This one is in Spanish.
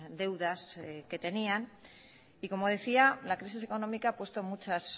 deudas que tenían y como decía la crisis económica ha puesto muchas